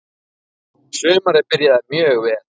Sumarið byrjaði mjög vel.